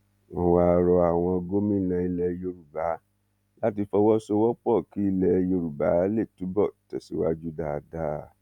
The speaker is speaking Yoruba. wọn wáá rọ àwọn gómìnà ilẹ yorùbá láti fọwọsowọpọ kí ilẹ yorùbá lè túbọ tẹsíwájú dáadáa